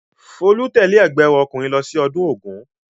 Folú tẹ̀lé ẹ̀gbọ́n rẹ̀ ọkùnrin lọ sí ọdún Ògún?